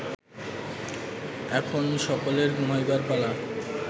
এখন সকলের ঘুমাইবার পালা